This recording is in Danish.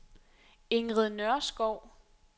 Ingrid Nørskov